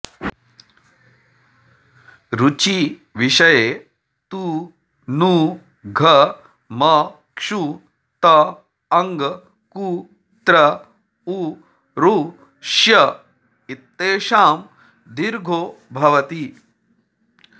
ऋचि विषये तु नु घ मक्षु तङ् कु त्र उरुष्य इत्येषां दीर्घो भवति